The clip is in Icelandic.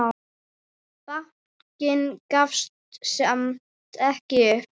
Bankinn gafst samt ekki upp.